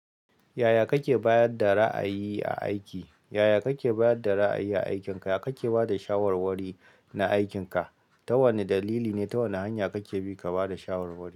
Yaya kake ba da ra'ayi aiki? Yaya kake bayar da ra'ayi a aikinka? Yaya kake ba da shawarwari na aikinka? Ta wane dalili ne? Ta wane hanya kake bi ka ba da shawarwari?